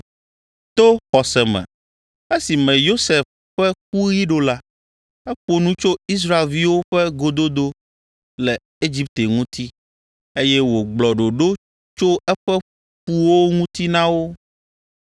To xɔse me esime Yosef ƒe kuɣi ɖo la, eƒo nu tso Israelviwo ƒe gododo le Egipte ŋuti, eye wògblɔ ɖoɖo tso eƒe ƒuwo ŋuti na wo.